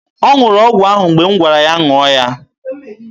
Ọ ṅụrụ ọgwụ ahụ mgbe m gwara ya ṅụọ ya.